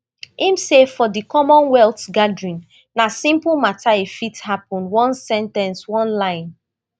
im say for di commonwealth gathering na simple mata e fit happun one sen ten ce one line